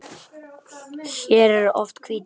Hér eru oft hvít jól.